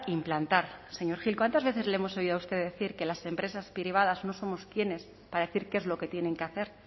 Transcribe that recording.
implantar señor gil cuántas veces le hemos oído a usted decir que las empresas privadas no somos quiénes para decir qué es lo que tienen que hacer